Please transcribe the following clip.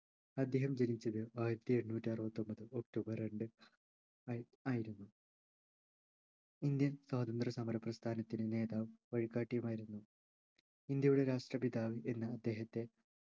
അദ്ദേഹം ജനിച്ചത് ആയിരത്തിഎണ്ണൂറ്റിഅറുപത്തിഒമ്പത് ഒക്ടോബർ രണ്ട് ആയി ആയിരുന്നു indian സ്വാതന്ത്രസമര പ്രസ്ഥാനത്തിൻ്റെ നേതാവും വഴികാട്ടിയുമായിരുന്നു ഇന്ത്യയുടെ രാഷ്ട്രപിതാവ് എന്ന് അദ്ദേഹത്തെ